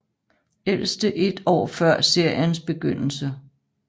Ældste et år før seriens begyndelse